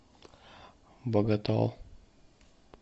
боготол